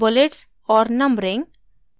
bullets और numbering